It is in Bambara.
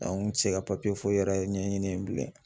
n kun tɛ se ka papiye foyi yɛrɛ ɲɛɲini yen bilen .